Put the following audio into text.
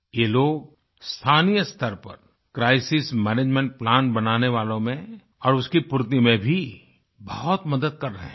ये लोग स्थानीय स्तर पर क्राइसिस मैनेजमेंट प्लान बनाने वालों में और उसकी पूर्ति में भी बहुत मदद कर रहें हैं